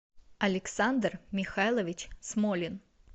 александр михайлович смолин